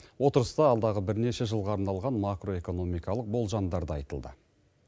отырыста алдағы бірнеше жылға арналған макроэкономикалық болжамдар да айтылды